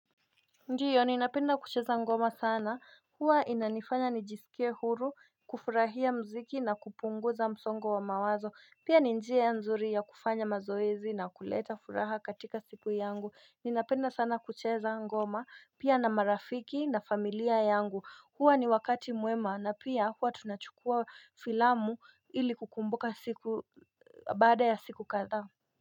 Ndiyo ninapenda kucheza ngoma sana huwa inanifanya nijisikie huru kufurahia muziki na kupunguza msongo wa mawazo. Pia ni njia nzuri ya kufanya mazoezi na kuleta furaha katika siku yangu. Ninapenda sana kucheza ngoma pia na marafiki na familia yangu. Huwa ni wakati mwema na pia huwa tunachukua filamu ili kukumbuka siku baada ya siku kadhaa.